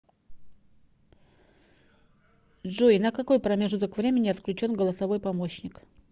джой на какой промежуток времени отключен голосовой помощник